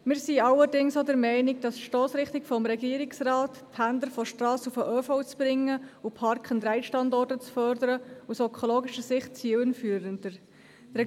Wir sind allerdings auch der Meinung, dass die Stossrichtung des Regierungsrates, Pendler von der Strasse auf den ÖV zu verlagern und Park-and-ride-Standorte zu fördern, aus ökologischer Sicht zielführender ist.